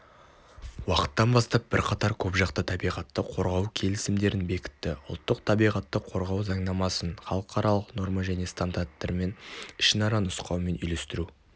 уақыттан бастап бірқатар көпжақты табиғатты қорғау келісімдерін бекітті ұлттық табиғатты қорғау заңнамасын халықаралық норма және стандарттармен ішінара нұсқауымен үйлестіру